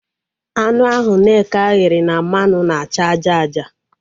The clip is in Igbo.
Anụ ahụ Nneka ghere na mmanụ na-acha aja aja